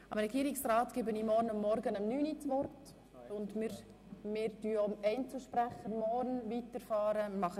Dem Regierungsrat gebe ich morgen Vormittag das Wort und wir fahren auch mit den Einzelsprechenden morgen Vormittag weiter.